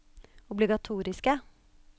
obligatoriske